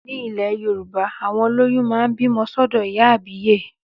Ní ilẹ̀ Yorùbá, àwọn olóyún máa ń bímọ sọ́dọ̀ ìyá àbíyè